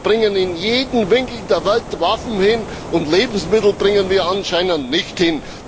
Wir bringen in jeden Winkel der Welt Waffen hin, und Lebensmittel bringen wir anscheinend nicht hin.